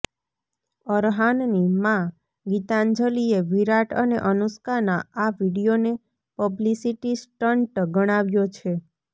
અરહાનની માં ગીતાંજલિએ વિરાટ અને અનુષ્કાનાં આ વિડીયોને પબ્લિસિટી સ્ટંટ ગણાવ્યો છે